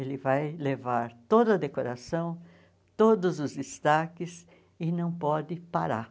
Ele vai levar toda a decoração, todos os destaques e não pode parar.